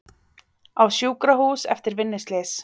Á sjúkrahús eftir vinnuslys